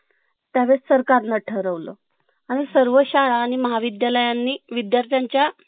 त्यावेळेस सरकार नं ठरवल आणि सर्व शाळा आणि महाविद्यालयांनी विद्यार्थ्यांच्या